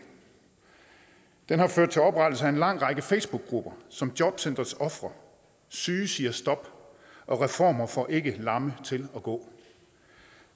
den har også ført til oprettelsen af en lang række facebookgrupper som jobcentres ofre syge siger stop og reformer får ikke lamme til at gå